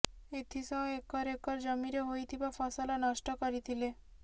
ଏଥିସହ acre acre ଜମିରେ ହୋଇଥିବା ଫସଲ ନଷ୍ଟ କରିଥିଲେ